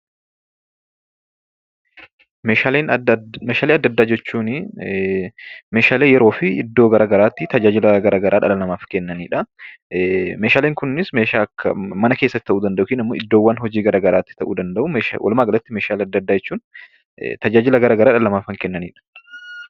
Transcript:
Meeshaalee adda addaa jechuun meeshaalee yeroo fi iddoo gara garaatti tajaajila gara garaa dhala namaaf kennanidha. Meeshaaleen kunis meeshaa akka mana keessatti ta'uu danda'u yookaan immoo iddoo hojii gara garaatti ta'uu danda'u. Walumaagalatti, meeshaalee adda addaa jechuun tajaajila gara garaa dhala namaaf kan kennanidha.